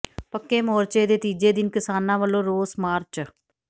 ਪੱਕੇ ਮੋਰਚੇ ਦੇ ਤੀਜੇ ਦਿਨ ਕਿਸਾਨਾਂ ਵੱਲੋਂ ਰੋਸ ਮਾਰਚ